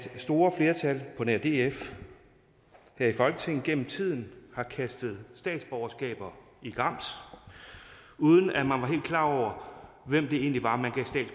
store flertal på nær df her i folketinget gennem tiden har kastet statsborgerskaber i grams uden at man var helt klar over hvem det egentlig var man gav